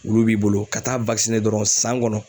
Wulu b'i bolo ka taa wakisine dɔrɔn san kɔnɔ